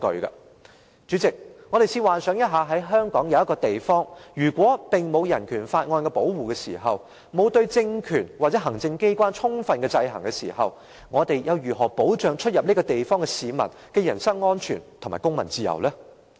代理主席，我們試想一下，如果香港有一個地方不受《香港人權法案條例》保護，對政權或行政機關沒有充分制衡，我們又如何保障進出這地方的市民的人身安全和公民自由？